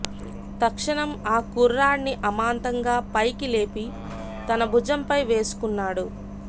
తక్షణం ఆ కుర్రాడ్ని అమాంతంగా పైకి లేపి తన భుజంపై వేసుకున్నాడు